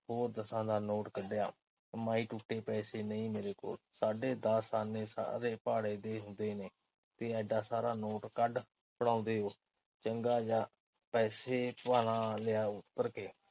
ਹੋਰ ਦਸਾਂ ਦਾ ਨੋਟ ਕੱਢਿਆ। ਮਾਈ ਟੁੱਟੇ ਪੈਸੇ ਨਹੀਂ ਮੇਰੇ ਕੋਲ। ਸਾਢੇ ਦਸ ਆਨੇ ਸਾਰੇ ਭਾੜੇ ਦੇ ਹੁੰਦੇ ਨੇ, ਤੇ ਇਡਾ ਸਾਰਾ ਨੋਟ ਕੱਢ ਫੜਾਉਂਦੇ ਓ। ਚੰਗਾ ਜਾਹ ਪੈਸੇ ਭਨਾ ਲਿਆ ਉਤਰ ਕੇ।